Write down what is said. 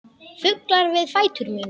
Fuglar við fætur mína.